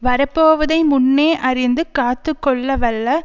வரப்போவதை முன்னே அறிந்து காத்து கொள்ளவல்ல